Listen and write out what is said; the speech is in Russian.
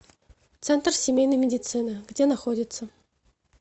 центр семейной медицины где находится